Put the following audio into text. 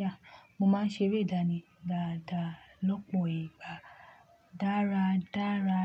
yeah, mo máa ń ṣeré ìdánì dáadáa lọ́pọ̀ ìgbà. Dára, dára.